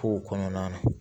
Kow kɔnɔna na